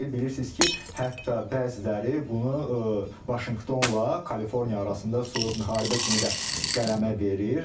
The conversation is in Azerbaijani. Bilirsiniz ki, hətta bəziləri bunu Vaşinqtonla Kaliforniya arasında soyuq müharibə kimi də qələmə verir.